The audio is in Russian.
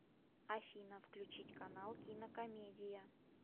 афина включить канал кинокомедия